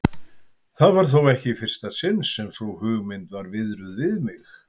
Það var þó ekki í fyrsta sinn sem sú hugmynd var viðruð við mig.